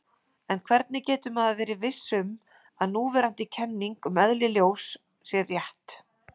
En hvernig getur maður verið viss um að núverandi kenning um eðli ljós sé rétt?